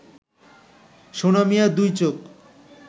সোনা মিয়ার দুই চোখ